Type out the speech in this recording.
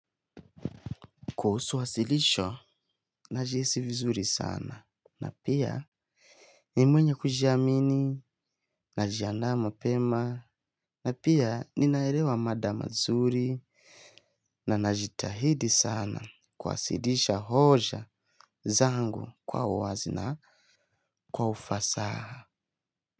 Kuhusu wasilisho, najihisi vizuri sana, na pia ni mwenye kujiamini, najiandaa mapema, na pia ninaerewa mada mazuri, na najitahidi sana kuwasilisha hoja zangu kwa uwazi na ufasaha.